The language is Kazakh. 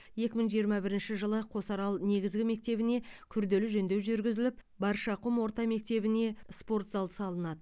екі мың жиырма бірінші жылы қосарал негізгі мектебіне күрделі жөндеу жүргізіліп баршақұм орта мектебіне спорт зал салынады